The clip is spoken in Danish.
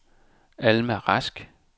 Alma Rask